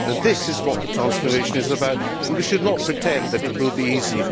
This is what the transformation is about, and we should not pretend that it will be easy.